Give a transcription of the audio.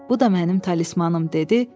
Bu da mənim talismanım dedi.